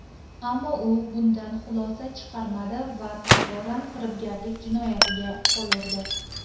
Ammo u bundan xulosa chiqarmadi va takroran firibgarlik jinoyatiga qo‘l urdi.